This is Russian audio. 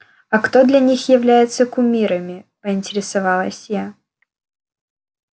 а кто для них является кумирами поинтересовалась я